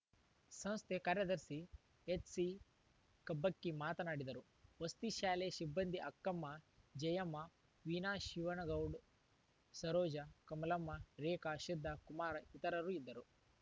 ಸಂಸ್ಥೆ ಕಾರ್ಯದರ್ಶಿ ಎಚ್‌ಸಿಕಬ್ಬಕ್ಕಿ ಮಾತನಾಡಿದರು ವಸತಿ ಶಾಲೆಯ ಸಿಬ್ಬಂದಿ ಅಕ್ಕಮ್ಮ ಜಯಮ್ಮ ವೀಣಾ ಶಿವನಗೌಡ್ ಸರೋಜ ಕಮಲಮ್ಮ ರೇಖಾ ಸಿದ್ದ ಕುಮಾರ ಇತರರು ಇದ್ದರು